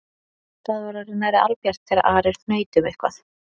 Það var orðið nærri albjart þegar Ari hnaut um eitthvað